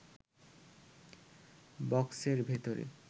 বক্সের ভেতর